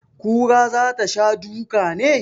Kura za ta sha duka ne?